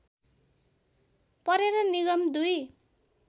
परेर निगम दुई